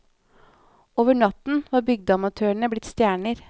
Over natten var bygdeamatørene blitt stjerner.